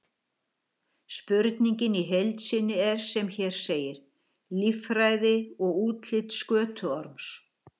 Spurningin í heild sinni er sem hér segir: Líffræði og útlit skötuorms?